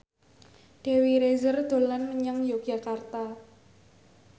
Dewi Rezer dolan menyang Yogyakarta